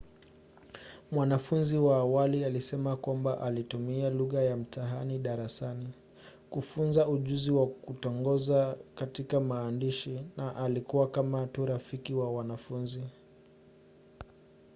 mwanafunzi wa awali alisema kwamba ‘alitumia lugha ya mtaani darasani kufunza ujuzi wa kutongoza katika maandishi na alikuwa kama tu rafiki wa wanafunzi.’